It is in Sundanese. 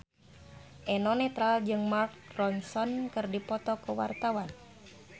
Eno Netral jeung Mark Ronson keur dipoto ku wartawan